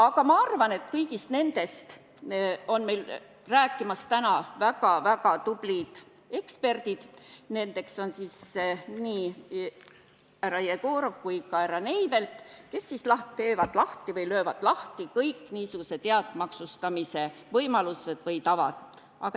Aga ma arvan, et kõigist nendest asjadest räägivad meile täna väga tublid eksperdid härra Jegorov ja härra Neivelt, kes löövad lahti kõik niisugused head maksustamise võimalused või tavad.